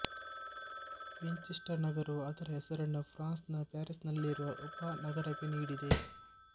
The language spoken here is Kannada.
ವಿಂಚೆಸ್ಟರ್ ನಗರವು ಅದರ ಹೆಸರನ್ನು ಫ್ರಾನ್ಸ್ ನ ಪ್ಯಾರೀಸ್ ನಲ್ಲಿರುವ ಉಪನಗರಕ್ಕೆ ನೀಡಿದೆ